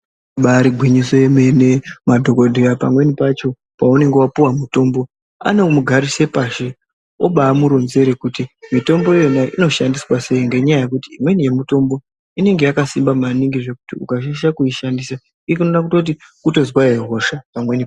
Ibari gwinyiso yemene, madhokoteya pamweni pacho paunenge wapuwa mutombo anobamugarise pashi obamuronzera kuti mitombo inoyo inoshandiswa pakadini ngenyaya yekuti pamweni pacho inonga yakabasimba maningi zvekuti ukashaisha kuushandisa unokona kutozwahe hosha pamweni.